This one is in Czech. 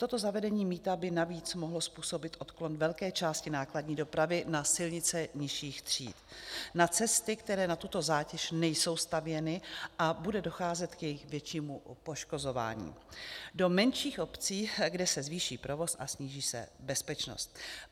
Toto zavedení mýta by navíc mohlo způsobit odklon velké části nákladní dopravy na silnice nižších tříd, na cesty, které na tuto zátěž nejsou stavěny, a bude docházet k jejich většímu poškozování, do menších obcí, kde se zvýší provoz a sníží se bezpečnost.